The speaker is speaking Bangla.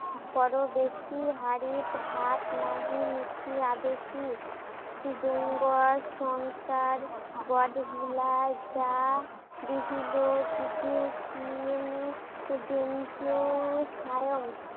পরবর্তী হাড়িত ভাত নাহি, নিত্যি ঘর-সংসার, গডজিলা যা দেখিলে